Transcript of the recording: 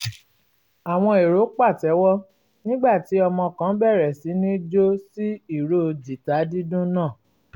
àwọn èrò pàtẹ́wọ́ nígbà tí ọmọ kan bẹ̀rẹ̀ sí ní jó sí ìró jìtá dídùn náà